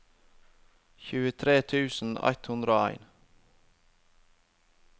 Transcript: tjuetre tusen ett hundre og en